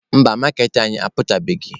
Mba, maaketa anyị aputabeghị.